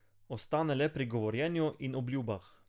Ostane le pri govorjenju in obljubah.